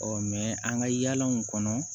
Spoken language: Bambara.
an ka yaalaw kɔnɔ